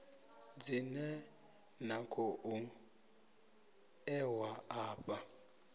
dzine na khou ṋewa afha